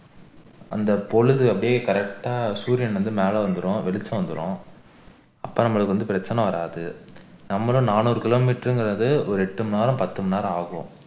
அந்த பொழுது அப்படியே correct ஆ சூரியன் வந்து மேல வந்துரும் வெளிச்சம் வந்துரும் அப்ப நம்மளுக்கு வந்து பிரச்சினை வராது நம்மளும் நானூறு kilometer என்கிறது ஒரு எட்டு மணி நேரம் பத்து மணி நேரம் ஆகும்